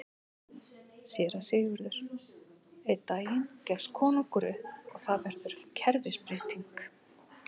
SÉRA SIGURÐUR: Einn daginn gefst konungur upp og þar verður kerfisbreyting!